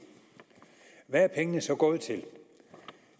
hvad er pengene så gået til